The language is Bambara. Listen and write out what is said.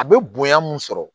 A bɛ bonya mun sɔrɔ